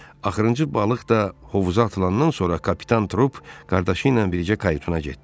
Axırıncı balıq da hovuza atılandan sonra Kapitan Trup qardaşı ilə birlikdə kayutuna getdi.